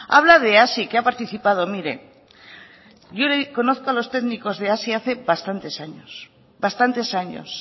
habla de hazi que ha participado mire yo conozco a los técnicos de hazi hace bastantes años